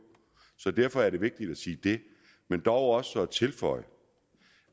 så derfor er det vigtigt at sige det men også at tilføje